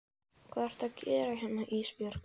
Hvað ertu að gera hérna Ísbjörg?